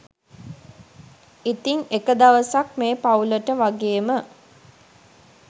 ඉතින් එක දවසක් මේ පවුලට වගේම